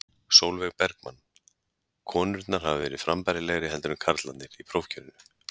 Sólveig Bergmann: Konurnar hafa verið frambærilegri heldur en karlarnir í prófkjörinu?